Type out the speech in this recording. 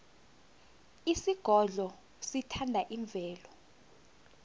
isigodlo sithanda imvelo